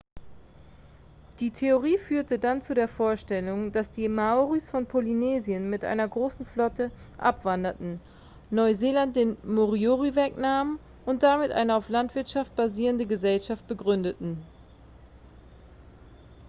die theorie führte dann zu der vorstellung dass die maoris von polynesien mit einer großen flotte abwanderten neuseeland den moriori wegnahmen und damit eine auf landwirtschaft basierende gesellschaft begründeten